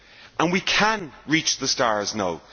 And we can reach the stars now!